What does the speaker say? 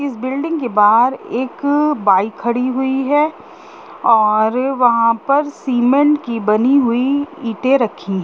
इस बिल्डिंग के बाहर एक बाइक खड़ी हुई है और वहाँ पर सीमेंट की बनी हुई ईटे रखी--